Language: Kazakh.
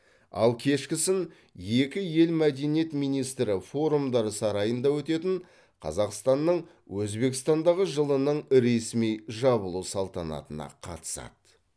ал кешкісін екі ел мәдениет министрі форумдар сарайында өтетін қазақстанның өзбекстандағы жылының ресми жабылу салтанатына қатысады